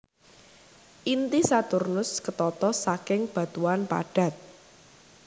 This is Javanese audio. Inti Saturnus ketata saking batuan padat